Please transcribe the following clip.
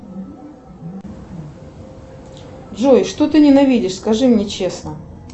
джой что ты ненавидишь скажи мне честно